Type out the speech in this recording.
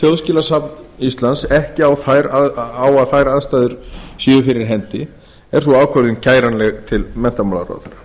þjóðskjalasafn íslands ekki á að þær aðstæður séu fyrir hendi er sú ákvörðun kæranleg til menntamálaráðherra